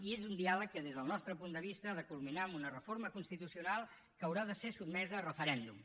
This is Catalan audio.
i és un diàleg que des del nostre punt de vista ha de culminar amb una reforma constitucional que haurà de ser sotmesa a referèndum